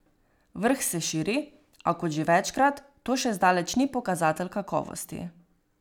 Vrh se širi, a, kot že večkrat, to še zdaleč ni pokazatelj kakovosti.